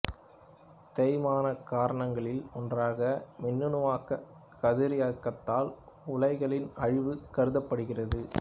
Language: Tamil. தேய்மானக் காரணிகளில் ஒன்றாக மின்னணுவாக்கக் கதிரியக்கத்தால் உலைகளின் அழிவு கருதப்படுகிறது